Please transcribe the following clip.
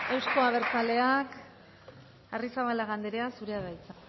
euzko abertzaleak arrizabalaga anderea zurea da hitza